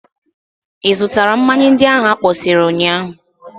Ị zụtara mmanya ndị ahụ akpọsịrị ụnyaahụ?